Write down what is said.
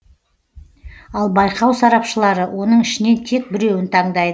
ал байқау сарапшылары оның ішінен тек біреуін таңдайды